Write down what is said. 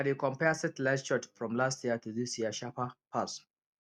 i dey compare satellite shots from last year to this year sharper pass